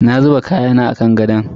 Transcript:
Na zuba kayana a kan gadon.